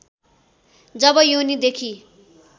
जब योनि देखि